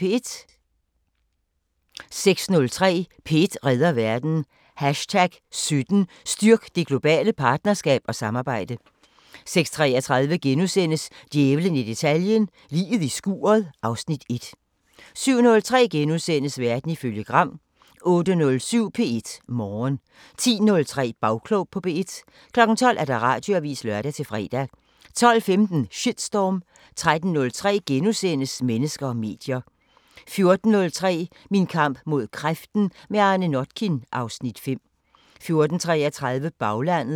06:03: P1 redder verden: #17 Styrk det globale partnerskab og samarbejde 06:33: Djævlen i detaljen – Liget i skuret (Afs. 1)* 07:03: Verden ifølge Gram * 08:07: P1 Morgen 10:03: Bagklog på P1 12:00: Radioavisen (lør-fre) 12:15: Shitstorm 13:03: Mennesker og medier * 14:03: Min kamp mod kræften – med Arne Notkin (Afs. 5) 14:33: Baglandet